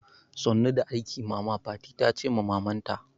Sannu da aiki mama, fati tace ma maman ta